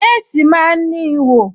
Léèsì máa ń ní ihò